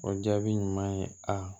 O jaabi ɲuman ye aa